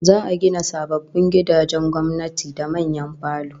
Za'a gina sababbin gidajen gwamnati da manyan falo